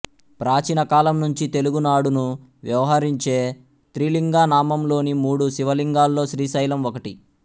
ప్రాచీన కాలం నుంచి తెలుగునాడును వ్యవహరించే త్రిలింగ నామంలోని మూడు శివలింగాల్లో శ్రీశైలం ఒకటి